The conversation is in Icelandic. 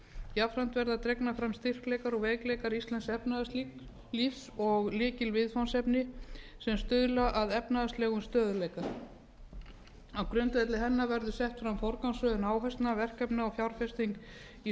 jafnframt verða dregnir fram styrkleikar og veikleikar íslensks efnahagslífs og lykilviðfangsefni sem stuðla að efnahagslegum stöðugleika á grundvelli hennar verður sett fram forgangsröðun áherslna verkefna og fjárfesting í